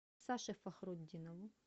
саше фахрутдинову